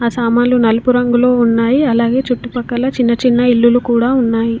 ఆ సామాన్లు నలుపు రంగులో ఉన్నాయి అలాగే చుట్టుపక్కల చిన్న చిన్న ఇల్లులు కూడా ఉన్నాయి.